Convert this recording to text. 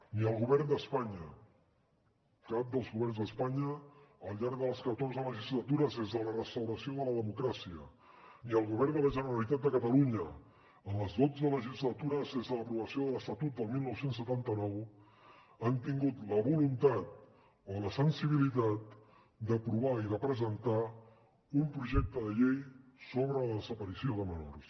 ni el govern d’espanya cap dels governs d’espanya al llarg de les catorze legislatures des de la restauració de la democràcia ni el govern de la generalitat de catalunya en les dotze legislatures des de l’aprovació de l’estatut del dinou setanta nou han tingut la voluntat o la sensibilitat d’aprovar i de presentar un projecte de llei sobre la desaparició de menors